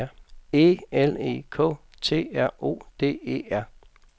E L E K T R O D E R